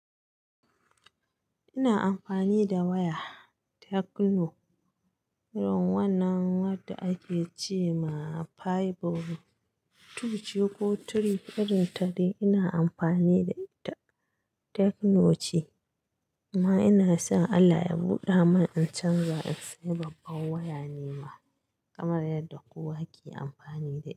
Ina amfani da waya tecno irin wannan wadda ake ce ma fiber two ce ko three. Irin ta dai ina amfani da ita tekkno ce amma ina son Allah ya buɗa mun in canza in sayi babban waya nima kamar yadda kowa ke amfani da ita.